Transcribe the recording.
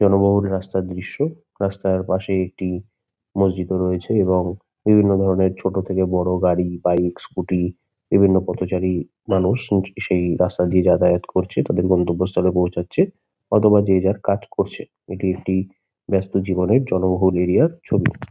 জনবহুল রাস্তার দৃশ্য। রাস্তার পাশে একটি মসজিদও রয়েছে এবং বিভিন্ন ধরণের ছোট থেকে বড়ো গাড়ি বাইক স্কুটি বিভিন্ন পথচারী মানুষ সেই রাস্তা দিয়ে যাতায়াত করছে। তাদের গন্তব্যস্থলে পৌঁছাচ্ছে অথবা যে যা যার কাজ করছে। এটি একটি ব্যস্ত জীবনের জনবহুল এরিয়া -র ছবি।